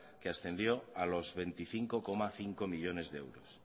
que ascendió a los veinticinco coma cinco millónes de euros